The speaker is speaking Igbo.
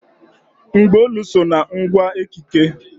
Mgbaolu so na ngwa ekike.